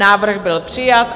Návrh byl přijat.